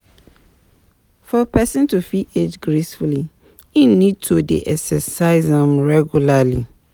For person to fit age gracefully im need to dey exercise um regularly